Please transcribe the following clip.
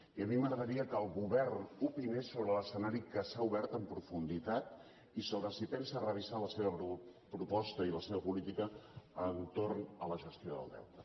i a mi m’agradaria que el govern opinés sobre l’escenari que s’ha obert amb profunditat i sobre si pensa revisar la seva proposta i la seva política entorn de la gestió del deute